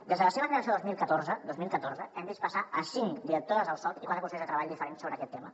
des de la seva creació el dos mil catorze dos mil catorze hem vist passar cinc directores del soc i quatre consellers de treball diferents sobre aquest tema